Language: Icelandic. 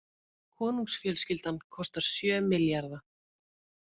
Konungsfjölskyldan kostar sjö milljarða